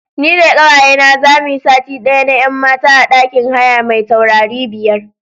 Ni da ƙawayena za mu yi sati ɗaya na 'yan mata a ɗakin haya mai taurari biyar.